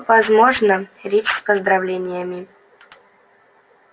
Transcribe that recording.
возможно речь с поздравлениями